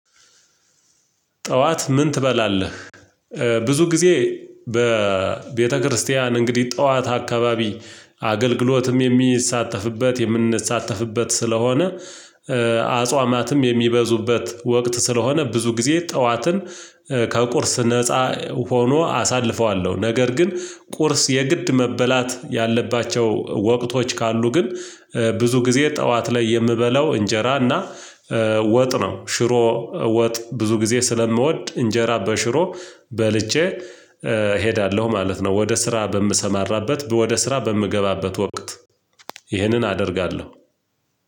ጠዋት ምን ትበላለህ? ብዙ ጊዜ በቤተክርስቲያን እንግዲህ ጠዋት አካባቢ አገልግሎትም የሚሳተፍበት የምንሳተፍበት ስለሆነ የሚበዙበት ወቅት ስለሆነ ብዙ ጊዜ ጠዋትን ከቁርስ ነፃ ሆኖ አሳልፈዋለሁ። ነገር ግን ቁርስ የግድ መበላት ያለባቸው ወቅቶች ካሉ ግን ብዙ ጊዜ ጠዋት ላይ የምበላው እንጀራ እና ወጥ ነው ሽሮ ወጥ ብዙ ጊዜ ስለምወድ እንጀራ በሽሮ በልቼ እሄዳለሁ ማለት ነው። ወደ ስራ በምሰማራበት ወደ ስራ በምገባበት ወቅት ይሄንን አደርጋለሁ።